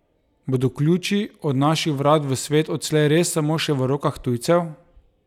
Bodo ključi od naših vrat v svet odslej res samo še v rokah tujcev?